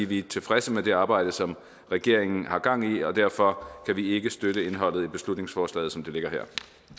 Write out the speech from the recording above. vi er tilfredse med det arbejde som regeringen har gang i og derfor kan vi ikke støtte indholdet i beslutningsforslaget som det ligger her